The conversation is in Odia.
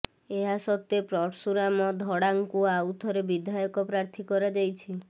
ଏହା ସତ୍ତ୍ୱେ ପର୍ଶୁରାମ ଧଡ଼ାଙ୍କୁ ଆଉଥରେ ବିଧାୟକ ପ୍ରାର୍ଥୀ କରାଯାଇଛି